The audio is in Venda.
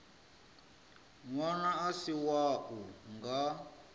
ṅwana a si wau nga